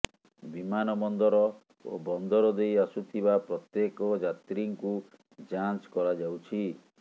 ବିମାନବନ୍ଦର ଓ ବନ୍ଦର ଦେଇ ଆସୁଥିବା ପ୍ରତ୍ୟେକ ଯାତ୍ରୀଙ୍କୁ ଯାଞ୍ଚ କରାଯାଉଛି